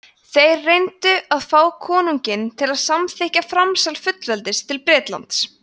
þeir reyndu að fá konunginn til að samþykkja framsal fullveldis til bretlands